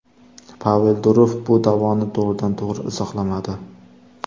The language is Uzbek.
Pavel Durov bu da’voni to‘g‘ridan to‘g‘ri izohlamadi.